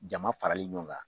Jama farali ɲɔgɔn kan